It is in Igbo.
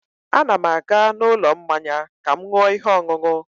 A na m aga n'ụlọ mmanya ka m ṅụọ ihe ọṅụṅụ